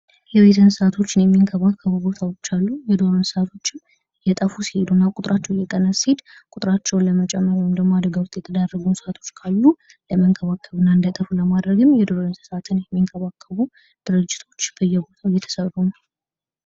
የቤት እንስሳዎችን የሚንከባከቡ ቦታዎች አሉ:: የዱር እንስሳዎችም እየጠፉ ሲሄዱና ቁጥራቸው እየቀነሰ ሲሄድ ቁጥራቸውን ለመጨመር ወይም ደግሞ አደጋ ውስጥ የተዳረጉ እንስሳቶች ካሉ ለመንከባከብና እንዳይጠፉ ለማድረግም የዱር እንስሳትን የሚንከባከቡ ድርጅቶች በየቦታው እየተሰሩ ነው ::